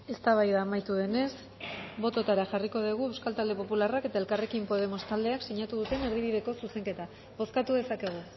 eztabaida amaitu denez botoetara jarriko dugu euskal talde popularrak eta elkarrekin podemos taldeak sinatu duten erdibideko zuzenketa bozkatu dezakegu